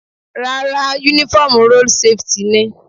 Rárá, uniform road safety ni.